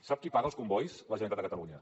sap qui paga els combois la generalitat de catalunya